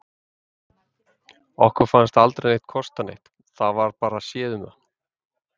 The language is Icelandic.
Okkur fannst aldrei neitt kosta neitt, það var bara séð um það.